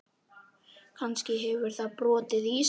Kannski hefur það brotið ísinn.